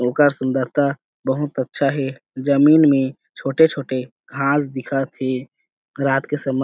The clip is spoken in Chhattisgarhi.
ओकर सुंदरता बहुत अच्छा हे जमीन में छोटे-छोटे घास दिखत हे रात के समय--